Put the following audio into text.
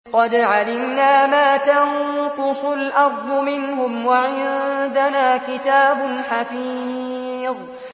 قَدْ عَلِمْنَا مَا تَنقُصُ الْأَرْضُ مِنْهُمْ ۖ وَعِندَنَا كِتَابٌ حَفِيظٌ